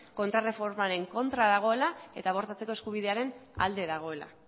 kontraerreformaren kontra dagoela eta abortatzeko eskubidearen alde dagoela